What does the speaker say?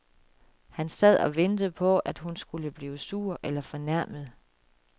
Han sad og ventede på at hun skulle blive sur eller fornærmet.